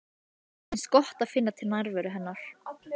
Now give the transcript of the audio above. Henni finnst gott að finna til nærveru hennar.